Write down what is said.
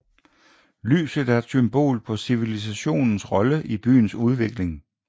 Lyset er et symbol på civilisationens rolle i byens udvikling